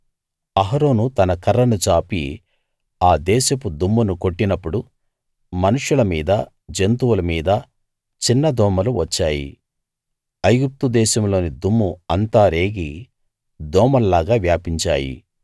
అహరోను తన కర్రను చాపి ఆ దేశపు దుమ్మును కొట్టినప్పుడు మనుష్యుల మీద జంతువుల మీద చిన్న దోమలు వచ్చాయి ఐగుప్తు దేశంలోని దుమ్ము అంతా రేగి దోమల్లాగా వ్యాపించాయి